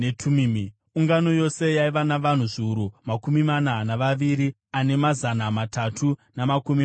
Ungano yose yaiva navanhu zviuru makumi mana navaviri ane mazana matatu namakumi matanhatu,